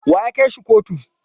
Wa ya kai shi kotu?